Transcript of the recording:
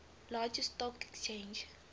largest stock exchange